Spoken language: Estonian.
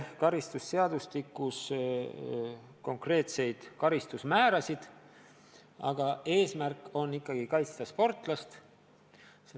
Karistusseadustikus muudetakse konkreetseid karistusmäärasid, aga eesmärk on ikkagi kaitsta sportlast.